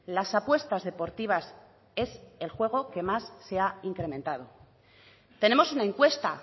las apuestas deportivas es el juego que más se ha incrementado tenemos una encuesta